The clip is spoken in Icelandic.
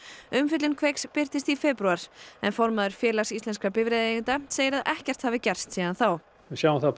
umfjöllun Kveiks birtist í febrúar en formaður Félags íslenskra bifreiðaeigenda segir að ekkert hafi gerst síðan þá við sjáum það að